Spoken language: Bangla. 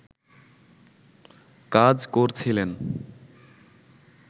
কাজ করছিলেন